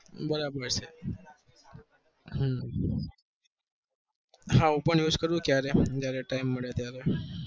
બરાબર છે હમ હા હું પણ use કયારેક જયારે time મળે ત્યારે